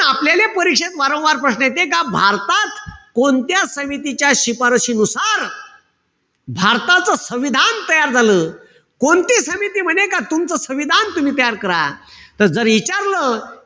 आपल्याले परिषद वारंवार प्रश्न येते का भारतात कोणत्या समितीच्या शिफारसीनुसार भारताचं संविधान तयार झालं. कोणती समिती म्हणे का तुमचं संविधान तुम्ही तयार करा. त जर इचारलं,